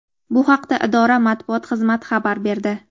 Bu haqda idora Matbuot xizmati xabar berdi.